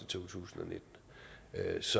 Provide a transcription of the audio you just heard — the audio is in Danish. to tusind